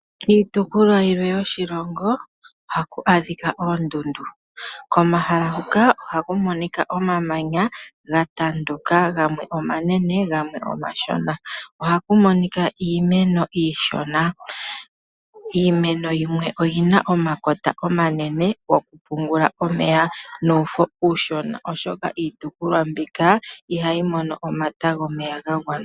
Iitukulwa yilwe yoshilongo ohaku adhika oondundu, komahala hoka ohaku monika omamanya ga tanduka gamwe omanene gamwe omashona. Ohaku monika iimeno iishona, iimeno yimwe oyina omakota omanene goku pungula omeya nuufo uushona oshoka iitukulwa mbika ihayi mono omata gomeya ga gwana.